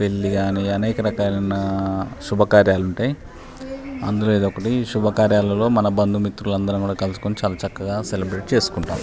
పెళ్లి కాని అనేక రకాలైన శుభకార్యాలు ఉంటాయి. అందులో ఇది ఒకటి శుభకార్యల్లో మన బంధు మిత్రులు అందరం కూడా కలుసుకుని చలా చక్కగా సెలబ్రేట్ చేసుకుంటాం.